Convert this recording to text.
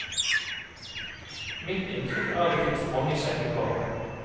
Mitt inntrykk er at det finnes mange kjekke barn.